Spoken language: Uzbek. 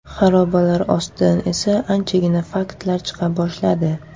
Xarobalar ostidan esa anchagina faktlar chiqa boshladi.